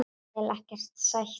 Vil ekkert sætt núna.